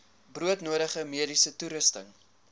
broodnodige mediese toerusting